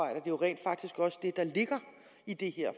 er jo rent faktisk også det der ligger i det her